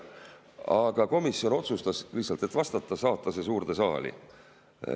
Aga komisjon otsustas – lihtsalt, et vastata – saata see suurde saali.